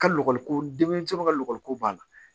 Ka lɔgɔli ko denmisɛnw ka lɔgɔliko b'a la